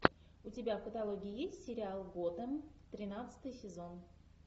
у тебя в каталоге есть сериал готем тринадцатый сезон